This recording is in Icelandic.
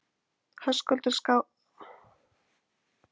Höskuldur Kári: Er opið hérna á aðfangadag?